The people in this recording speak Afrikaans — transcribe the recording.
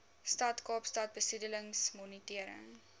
stad kaapstad besoedelingsmonitering